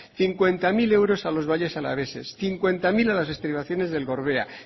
cincuenta mil euros a los valles alaveses cincuenta mil a las estribaciones del gorbea